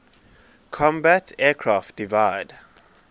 combat aircraft divide